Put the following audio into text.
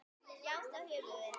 Já, það höfum við.